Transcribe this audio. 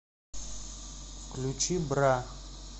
включи бра